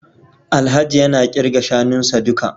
Alhaji yana kirga shanunsa duka